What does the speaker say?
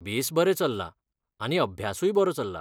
बेस बरें चल्लां आनी अभ्यासूय बरो चल्ला.